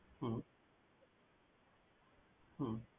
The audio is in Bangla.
হম